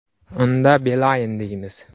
Unda Beeline” deymiz.